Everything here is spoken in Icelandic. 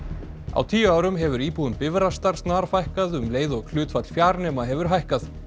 á tíu árum hefur íbúum Bifrastar snarfækkað um leið og hlutfall fjarnema hefur hækkað